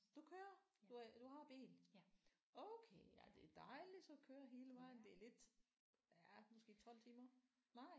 Du kører? Du er du har bil? Okay ja det er dejligt så at køre hele vejen det er lidt ja måske 12 timer nej